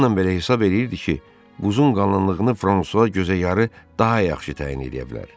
Bununla belə hesab eləyirdi ki, buzun qalınlığını Fransua gözə yarı daha yaxşı təyin eləyə bilər.